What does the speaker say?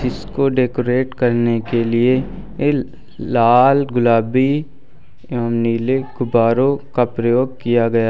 इसको डेकोरेट करने के लिए ये लाल गुलाबी एवं नीले गुब्बारों का प्रयोग किया गया।